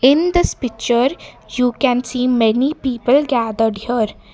In this picture you can see many people gathered here.